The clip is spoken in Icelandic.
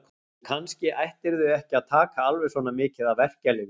Og kannski ættirðu ekki að taka alveg svona mikið af verkjalyfjum.